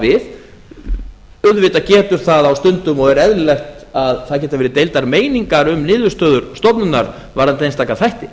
við auðvitað getur það á stundum og er eðlilegt að það geta verið deildar meiningar um niðurstöður stofnunarinnar varðandi einstaka þætti